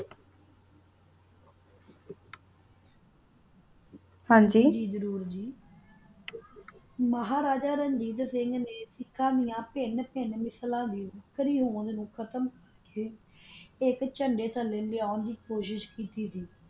ਹਨ ਜੀ ਮਹਾਰਾਜਾ ਰਣਜੀਤ ਸਿੰਘ ਨਾ ਅਸ ਦਯਾ ਵੀ ਤਿਨ ਤਿਨ ਨਸਲਾ ਨੂ ਖਤਮ ਕੀਤਾ ਕਾ ਓਨਾ ਨੂ ਏਕ ਚੰਦਾ ਥਲਾ ਲੈਣ ਦੀ ਕੋਸ਼ਿਸ਼ ਕੀਤੀ